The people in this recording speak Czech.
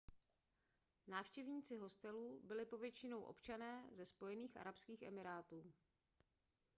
návštěvníci hostelu byli povětšinou občané ze spojených arabských emirátů